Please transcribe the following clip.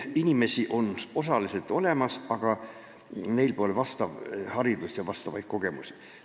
Inimesi osaliselt on, aga neil pole sobivat haridust ega vastavaid kogemusi.